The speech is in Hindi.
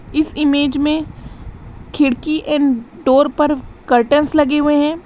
इस इमेज में खिड़की एंड डोर पर कार्टंस लगे हुए है।